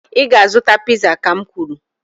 ị ga-azụta piza, ka m kwuru